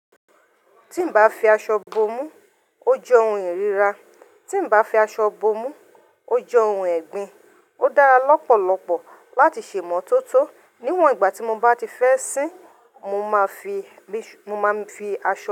Tí mbá fi aṣọ bo mú, ó jẹ́ ohun ìríra. Tí n bá fi aṣọ bo mú, ó jẹ́ ohun ẹ̀gbin. Ó dára lọ́pọ̀lọpọ̀ láti sè'mọ́ tótó. Níwọ̀n ìgbà tí mo bá ti fẹ́ sín, mo máa fi, mo máa n fi aṣọ.